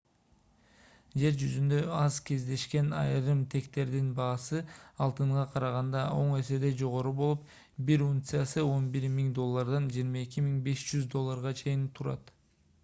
жер жүзүндө аз кездешкен айрым тектердин баасы алтынга караганда он эседей жогору болуп бир унциясы 11 000 доллардан 22 500 долларга чейин турат